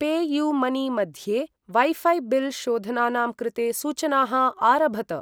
Pay you money मध्ये वैफै bill शोधनानां कृते सूचनाः आरभत।